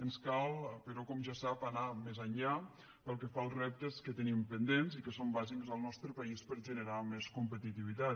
ens cal però com ja sap anar més enllà pel que fa als reptes que tenim pendents i que són bàsics en el nostre país per a generar més competitivitat